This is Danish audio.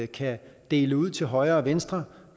kan dele ud til højre og venstre